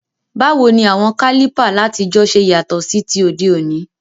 Báwoni àwon Kálìpà látijọ́ se yàtò sí ti òdé òní?